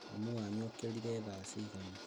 Mami wanyu okĩrire thaa cigana?